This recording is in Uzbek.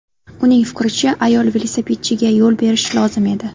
Uning fikricha, ayol velosipedchiga yo‘l berishi lozim edi.